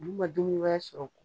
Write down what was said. N'u ma dumuni wɛrɛ sɔrɔ